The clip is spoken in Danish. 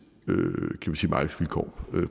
markedsvilkår